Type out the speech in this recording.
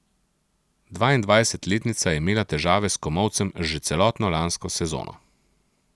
Dvaindvajsetletnica je imela težave s komolcem že celotno lansko sezono.